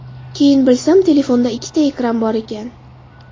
Keyin bilsam, telefonda ikkita ekran bor ekan.